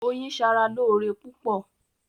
Oyin ṣara lóore púpọ̀.